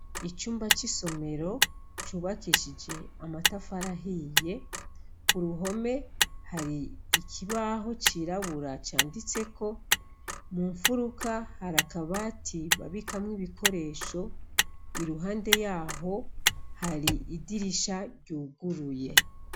Icumba c'isomero cubakishije amatafarahiye ku ruhome hari ikibaho cirabura canditseko mu mfuruka harakabati babikamwo ibikoresho iruhande yaho hari idirisha ryuguruye.